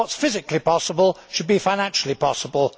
What is physically possible should be financially possible.